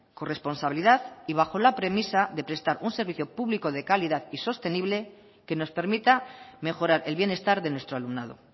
corresponsabilidad y bajo la premisa de prestar un servicio público de calidad y sostenible que nos permita mejorar el bienestar de nuestro alumnado